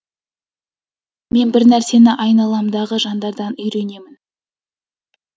мен бір нәрсені айналамдағы жандардан үйренемін